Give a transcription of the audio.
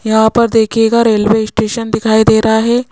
यहां पर देखियेगा रेलवे स्टेशन दिखाई दे रहा है।